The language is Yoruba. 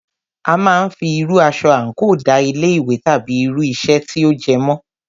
A máà ń fí irú aṣọ àńkò da ilé ìwé tàbí irú iṣẹ́ tí o jẹ́ mọ̀.